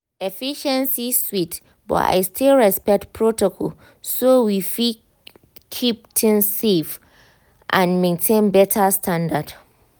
efficiency sweet but i still respect protocol so we fit keep things safe and maintain better standard.